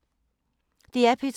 DR P2